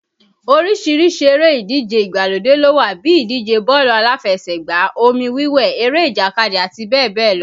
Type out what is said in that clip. Oríṣiríṣi eré ìdíje ìgbàlódé ló wà bíi ìdíje bọ́ọ̀lù aláfẹsẹ̀gbá, omi wiwẹ̀, eré ìjàkadì, àti bẹ́ẹ̀ bẹ́ẹ̀ lọ